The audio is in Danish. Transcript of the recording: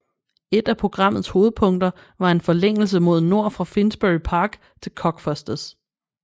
Et af programmets hovedpunkter var en forlængelse mod nord fra Finsbury Park til Cockfosters